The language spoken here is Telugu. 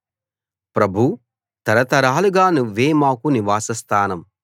ప్రభూ తరతరాలుగా నువ్వే మాకు నివాసస్థానం